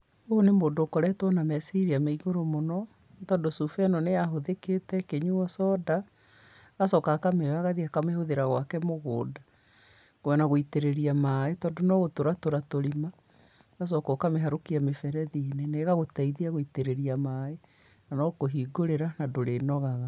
Ũyũ nĩ mũndũ ũkoretwo na meciria ma igũrũ mũno, nĩ tondũ cuba ĩno nĩ yahũthĩkĩte ĩkĩnyuo coda, agacoka akamĩoya agathiĩ akamĩhũthĩra gwake mũgũnda, ona gũitĩrĩrĩa maĩĩ tondũ no gũtũra tũra tũrima, ũgacoka ũkamĩharũkia mĩberethi-inĩ, na ĩgagũteithia gũitĩrĩria maaĩ, na no kũhingũrĩra, na ndũrĩnogaga.